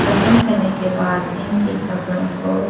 दफन करने के बाद इन के कब्रों को --